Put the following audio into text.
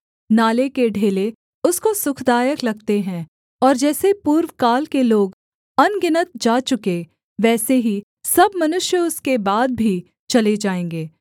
नाले के ढेले उसको सुखदायक लगते हैं और जैसे पूर्वकाल के लोग अनगिनत जा चुके वैसे ही सब मनुष्य उसके बाद भी चले जाएँगे